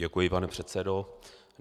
Děkuji, pane předsedo.